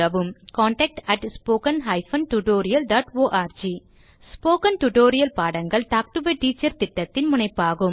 contact at spoken hyphen tutorial dot org spoken tutorial பாடங்கள் talk to a teacher திட்டத்தின் முனைப்பாகும்